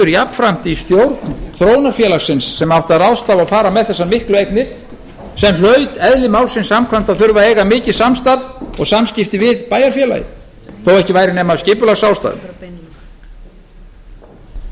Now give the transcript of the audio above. jafnframt í stjórn þróunarfélagsins sem átti að ráðstafa og fara með þessar miklu eignir sem hlaut eðli málsins samkvæmt að þurfa að eiga mikið samstarf og samskipti við bæjarfélagið þó ekki væri nema af skipulagsástæðum og sú